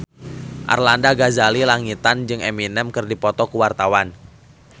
Arlanda Ghazali Langitan jeung Eminem keur dipoto ku wartawan